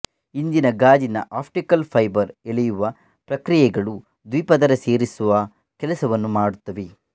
ಇಂದಿನ ಗಾಜಿನ optical fibre ಎಳೆಯುವ ಪ್ರಕ್ರಿಯೆಗಳು ದ್ವಿಪದರ ಸೇರಿಸುವ ಕೆಲಸವನ್ನು ಮಾಡುತ್ತವೆ